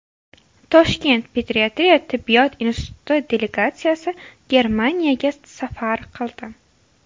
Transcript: Toshkent pediatriya tibbiyot instituti delegatsiyasi Germaniyaga safar qildi.